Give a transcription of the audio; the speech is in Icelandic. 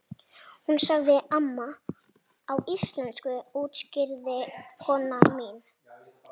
Hún sagði amma á íslensku útskýrði kona mín.